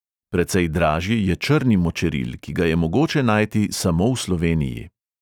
Precej dražji je črni močeril, ki ga je mogoče najti samo v sloveniji.